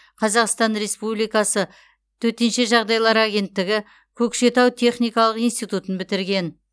қазақстан республикасы төтенше жағдайлар агенттігі көкшетау техникалық институтын бітірген